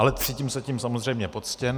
Ale cítím se tím samozřejmě poctěn.